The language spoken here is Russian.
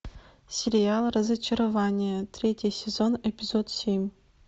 сериал разочарование третий сезон эпизод семь